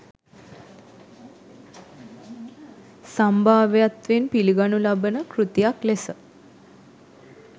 සම්භාව්‍යත්වයෙන් පිළිගනු ලබන කෘතියක් ලෙස